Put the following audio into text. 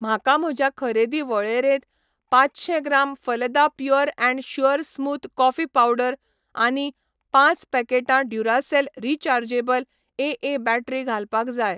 म्हाका म्हज्या खरेदी वळेरेंत पांचशें gram Phalada pure and sure smooth coffee powder आनी पांच पॅकेटां ड्युरासेल रिचार्जेबल एए बॅटरी घालपाक जाय.